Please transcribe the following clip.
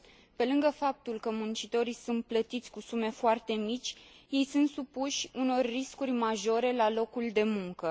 Pe lângă faptul că muncitorii sunt plătiți cu sume foarte mici, ei sunt supuși unor riscuri majore la locul de muncă.